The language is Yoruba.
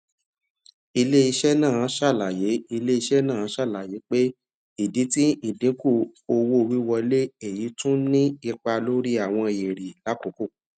ilé-iṣẹ́ náà ṣàlàyé ilé-iṣẹ́ náà ṣàlàyé pé idi ti idinku owówiwọle eyi ti tún ni ipa lori àwọn ere l'akoko